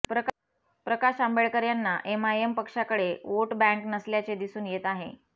प्रकाश आंबेडकर यांना एमआयएम पक्षाकडे vote bank नसल्याचे दिसून येत आहे